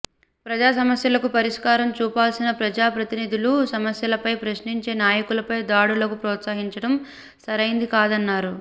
ప్రజా సమస్యలకు పరిష్కారం చూపాల్సిన ప్రజాప్రతినిధులు సమస్యలపై ప్రశ్నించే నాయకులపై దాడులకు ప్రోత్సహించడం సరైంది కాదన్నారు